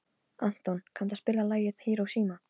Anton, kanntu að spila lagið „Hiroshima“?